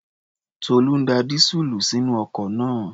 Tolú ń da dísúùlù sínú ọkọ̀ náà